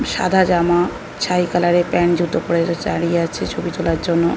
সাদা জামা ছায় কালার এর প্যান্ট জুতো পরে দাঁড়িয়ে আছে ছবি তোলার জন্য।